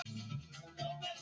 Það er hún!